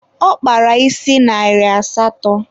Ọ kpara isi narị asatọ